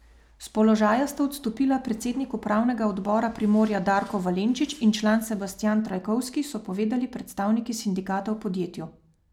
S položaja sta odstopila predsednik upravnega odbora Primorja Darko Valenčič in član Sebastijan Trajkovski, so povedali predstavniki sindikata v podjetju.